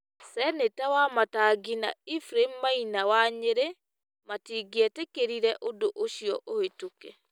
Seneta Wamatangi na Ephraim Maina wa Nyerĩ matingĩetĩkĩrire ũndũ ũcio ũhĩtũke.